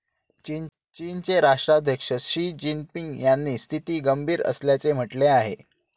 चीनचे राष्ट्राध्यक्ष Xi Jinping यांनी स्थिती गंभीर असल्याचे म्हटले आहे.